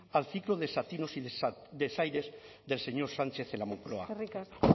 al ciclo de desatinos y desaires del señor sánchez en la moncloa eskerrik asko